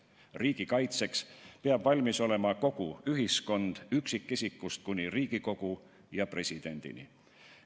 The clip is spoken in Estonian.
Riigi kaitseks peab valmis olema kogu ühiskond üksikisikust kuni Riigikogu ja presidendini.